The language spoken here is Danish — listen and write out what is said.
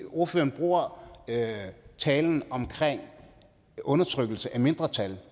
ordføreren bruger talen om undertrykkelse af mindretal